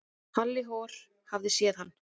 Halli hor hafði séð hann.